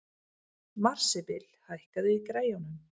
Marsibil, hækkaðu í græjunum.